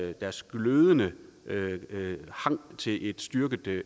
deres glødende hang til et styrket